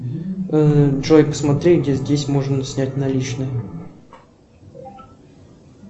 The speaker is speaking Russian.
джой посмотри где здесь можно снять наличные